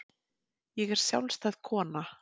Ég er sjálfstæð kona.